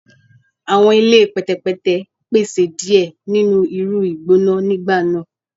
Awọn ile pẹtẹpẹtẹ pese diẹ ninu iru igbona nigba naa